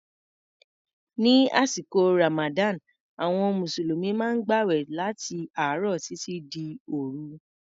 Ní àsìkò Ramadan, àwọn Mùsùlùmí maá ń gbàwẹ̀ láti àárọ̀ títí dé òru.